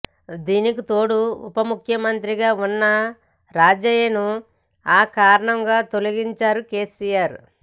దీనికితోడు ఉప ముఖ్యమంత్రి గా ఉన్న రాజయ్యను అకారణంగా తొలగించారు కెసిఆర్